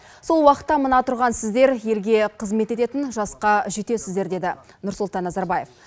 сол уақытта мына тұрған сіздер елге қызмет ететін жасқа жетесіздер деді нұрсұлтан назарбаев